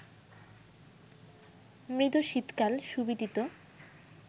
মৃদু শীতকাল সুবিদিত